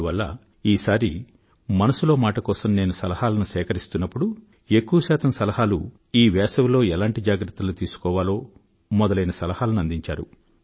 అందువల్ల ఈ సారి మనసులో మాట కోసం నేను సలహాలను సేకరిస్తున్నప్పుడు ఎక్కువ శాతం సలహాలు ఈ వేసవిలో ఎలాంటి జాగ్రత్తలు తీసుకోవాలో మొదలైన సలహాలను అందించారు